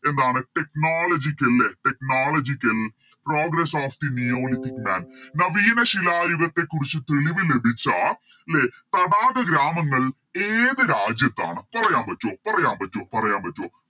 എന്താണ് Technological ലെ Technological progress of the neolithic land നവീന ശിലായുഗത്തെകുറിച്ച് തെളിവ് ലഭിച്ച ലെ തടാക ഗ്രാമങ്ങൾ ഏത് രാജ്യത്താണ് പറയാൻ പറ്റോ പറയാൻ പറ്റോ പറയാൻ പറ്റോ